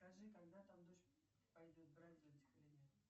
скажи когда там дождь пойдет брать зонтик или нет